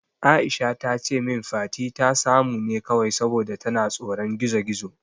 Aisha tace min Fati ta samu ne kawai saboda tana tsoron gizo-gizo.